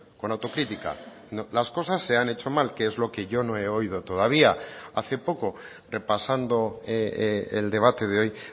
con autocrítica las cosas se han hecho mal que es lo que yo no he oído todavía hace poco repasando el debate de hoy